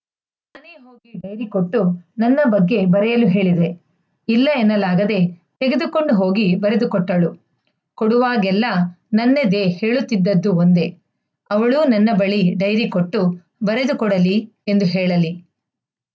dairy ಕೊಟ್ಟು ನನ್ನ ಬಗ್ಗೆ ಬರೆಯಲು ಹೇಳಿದೆ ಇಲ್ಲ ಎನ್ನಲಾಗದೇ ತೆಗೆದುಕೊಂಡು ಹೋಗಿ ಬರೆದುಕೊಟ್ಟಳು ಕೊಡುವಾಗೆಲ್ಲ ನನ್ನೆದೆ ಹೇಳುತ್ತಿದ್ದದ್ದು ಒಂದೇ ಅವಳೂ ನನ್ನ ಬಳಿ ಡೈರಿ ಕೊಟ್ಟು ಬರೆದು ಕೊಡಲಿ ಎಂದು ಹೇಳಲಿ